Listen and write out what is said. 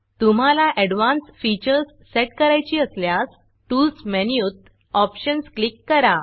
तुम्हाला advance features set करायची असल्यास Toolsटूल्स मेनूत Optionsऑप्षन्स क्लिक करा